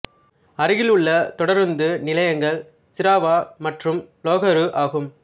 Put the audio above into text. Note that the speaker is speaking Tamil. அருகில் உள்ள தொடருந்து நிலையங்கள் சிராவா மற்றும் லோகரு ஆகும்